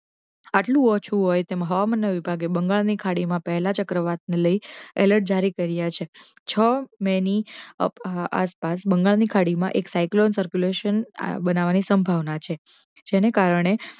આટલુ ઓછુ હોય તેમ હવામાન વિભાગે બંગાળ ની ખાડી મા પહેલા થી લઈ અલૅટ જારી કર્યા છે છ મે ની આસપાસ બંગાળ ની ખાડી મા એક psycholon circulation બનાવવાની સંભાવના છે જે ને કારણે